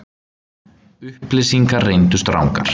Upplýsingarnar reyndust rangar